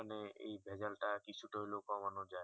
মানে এই ভেজাল তা কিছু তা হলেও কমানো যাই